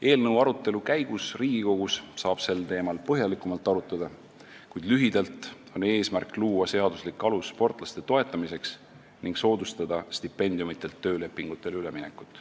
Eelnõu arutelu käigus saame seda teemat Riigikogus põhjalikumalt arutada, kuid lühidalt on eesmärk luua seaduslik alus sportlaste toetamiseks ning soodustada stipendiumitelt töölepingutele üleminekut.